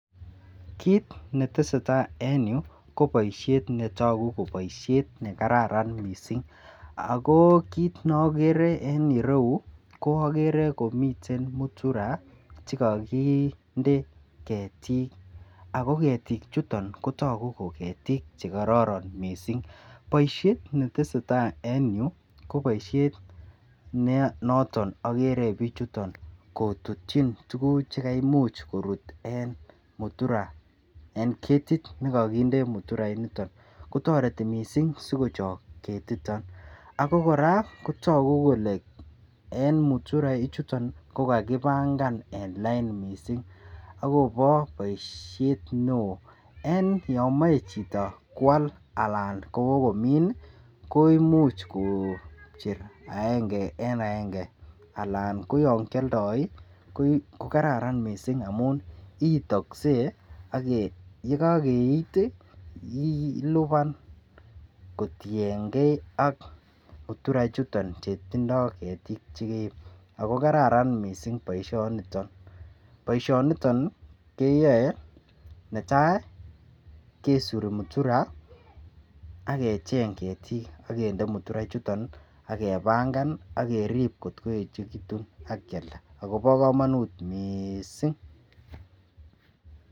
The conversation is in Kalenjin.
Kit netesetai en yuu ko boishet netoku kotoku ko boishet nekararan missing ako kit neokere en iroyuu ko okere komiten muturaa chekokinde ketik ako ketik chuton kotoku ko ketik chekororon missing. Boishet netesetai en yuu ko boishet ne noton okere bichuton kotutyin tukuk chekaimuch korut en mutura en ketit nekokinde mutura initon ko toreti missing sikochok ketiton ako Koraa kotoku kole en mutura ichuton ko kakipangan en lain missing akobo boishet neo. En yomoi chito kwal alan Kobo komin nii koimuch kokocher aenge en aenge alak ko yon kioldo ko kararan missing amun iitokse yekokeit tii ilipan kotiyengee ak mutura ichuton chetindo ketik chekeib ako kararan missing boishoniton. Boishoniton keyoe netai kesuri mutura ak kecheng ketik akende mutura ichuton nii ak kepanga nii akerib kotkoyechekitun ak Kialda akobo komonut missing.